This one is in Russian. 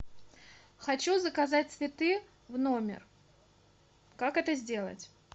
хочу заказать цветы в номер как это сделать